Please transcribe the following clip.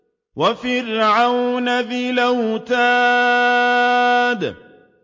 وَفِرْعَوْنَ ذِي الْأَوْتَادِ